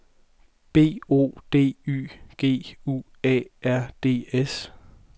B O D Y G U A R D S